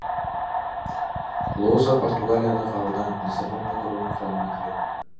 лоза португалиядағы аудан лиссабон округінің құрамына кіреді